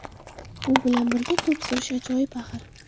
U bilan birga to‘p surish ajoyib axir”.